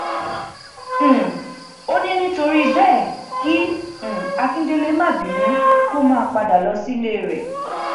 um ó ní nítorí bẹẹ kí um akindlee má bínú kó máa padà lọ sílé rẹ